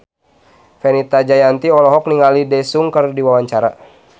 Fenita Jayanti olohok ningali Daesung keur diwawancara